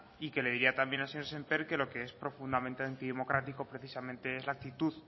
y que le diría también al señor sémper que lo que es profundamente antidemocrático precisamente es la actitud